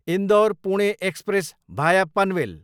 Indore, Pune express भाया पनवेल